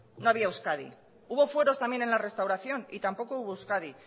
no había euskadi hubo fueros también en la restauración y tampoco hubo euskadi